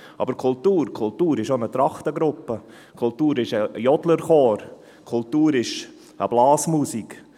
Aber Kultur ist auch eine Trachtengruppe, Kultur ist ein Jodlerchor, Kultur ist eine Blasmusik.